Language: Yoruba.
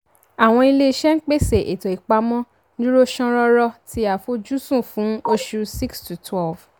àwọn ilé-iṣẹ́ ń pèsè ètò ìpamọ́ dúró ṣán rọ́rọ́ ti àfojúsùn fún oṣù six sí twelve